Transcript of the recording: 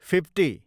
fifty